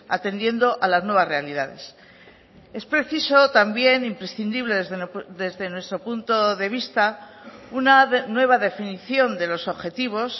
atendiendo a las nuevas realidades es preciso también imprescindible desde nuestro punto de vista una nueva definición de los objetivos